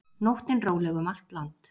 Nóttin róleg um allt land